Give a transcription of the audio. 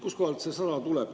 Kuskohast see 100 tuleb?